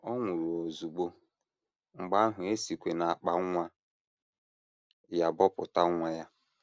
Ọ nwụrụ ozugbo, mgbe ahụ e sikwa n’akpa nwa ya bọpụta nwa ya.